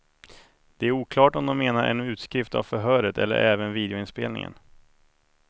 Det är oklart om de menar en utskrift av förhöret eller även videoinspelningen.